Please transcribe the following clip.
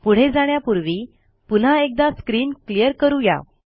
पुढे जाण्यापूर्वी पुन्हा एकदा स्क्रीन क्लियर करू या